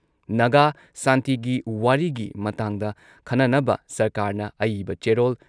ꯅꯥꯒꯥ ꯁꯥꯟꯇꯤꯒꯤ ꯋꯥꯔꯤꯒꯤ ꯃꯇꯥꯡꯗ ꯈꯟꯅꯅꯕ ꯁꯔꯀꯥꯔꯅ ꯑꯏꯕ ꯆꯦꯔꯣꯜ